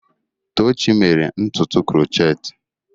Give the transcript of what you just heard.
Tochi mere ntutu krochetị.